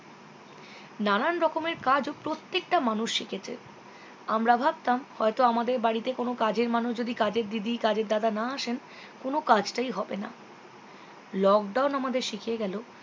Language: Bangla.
নানান রকমের কাজ ও প্রত্যেকটা মানুষ শিখেছে আমরা ভাবতাম হয়তো আমাদের বাড়িতে কোনো কাজের মানুষ যদি কাজের দিদি কাজের দাদা না আসেন কোনো কাজটাই হবে না lockdown আমাদের শিখিয়ে গেলো